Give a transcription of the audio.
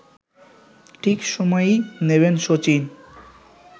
ঠিক সময়েই নেবেন শচীন